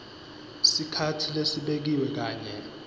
sikhatsi lesibekiwe kanye